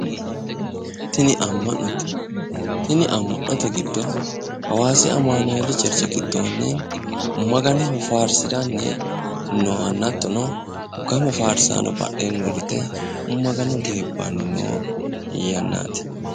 Tini ama'note tini ama'note hawaasi amanueli ama'note giddo gamu badheni uurrenna Magano geebbani noo yaannati